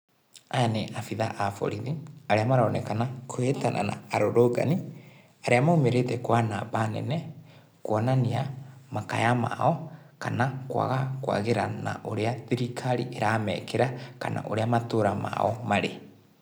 Aya ni abitha a borithi, arĩa maronekana kũhĩtana na arũrũngani, arĩa maumĩrĩte kwa namba nene, kũonania makaya mao, kana kwaga kwagĩra na ũrĩa thirikari ĩramekĩra, kana ũrĩa matũra mao marĩ.